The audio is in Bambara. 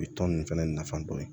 U bɛ tɔn ninnu fɛnɛ nafa dɔn